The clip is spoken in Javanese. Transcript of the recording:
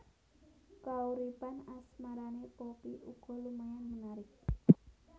Kauripan asmarané Poppy uga lumayan menarik